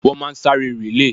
Wọ́n máa sáré rìlèè.